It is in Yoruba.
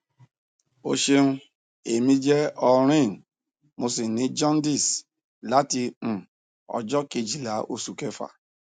o ṣeun emi je aureen mo si ni jaundice lati um ọjọ kejila osu kefa